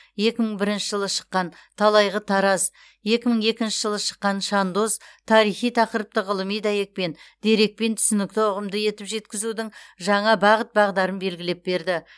екі мың бірінші жылы шыққан талайғы тараз екі мың екінші жылы шыққан шандоз тарихи тақырыпты ғылыми дәйекпен дерекпен түсінікті ұғымды етіп жеткізудің жаңа бағыт бағдарын белгілеп берді